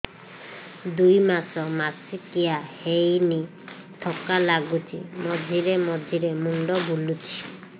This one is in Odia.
ଦୁଇ ମାସ ମାସିକିଆ ହେଇନି ଥକା ଲାଗୁଚି ମଝିରେ ମଝିରେ ମୁଣ୍ଡ ବୁଲୁଛି